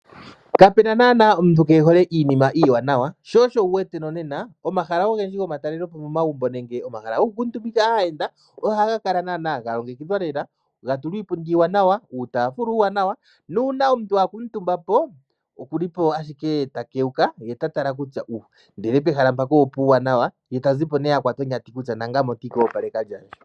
Kapena naana omuntu keehole iinima iiwanawa. Sho osho wu wete no nena omahala ogendji gomatalelepo momagumbo nenge momahala nenge omahala go ku kuutumbika aayenda o ha ga kala naana ga longekidhwa lela ga tulwa iipundi iiwanawa , uutafula uuwanawa nuuna omuntu a kuutumbapo oku li po ashike ta kewuka ye ta tala kutya uh! ndele pehala mpaka opuuwanawa ye tazi po nee akwata onyati kutya nangame otii ka opaleka lyandje.